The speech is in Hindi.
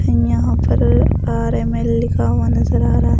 यहाँ पर आर एम एल लिखा हुआ नजर आ रहा है।